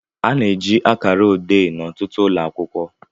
A na-eji akara ode n'ọtụtụ ụlọ akwụkwọ